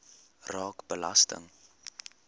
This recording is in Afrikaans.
raak belasting